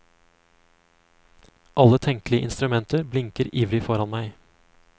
Alle tenkelige instrumenter blinker ivrig foran meg.